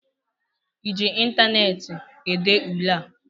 ị ji ịntaneetị ede ule a?